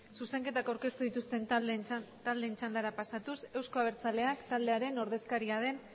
zuzenketak aurkeztu dituzten taldeen txandara pasatuz euzko abertzaleak taldearen ordezkaria den